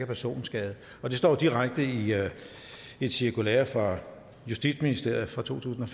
personskade der står jo direkte i et cirkulære fra justitsministeriet fra to tusind og